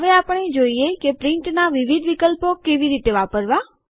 હવે આપણે જોઈએ કે પ્રિન્ટનાં વિવિધ વિકલ્પો કઈ રીતે વાપરવા